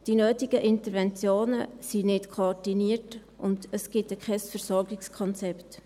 Die nötigen Interventionen sind nicht koordiniert, und es gibt kein Versorgungskonzept.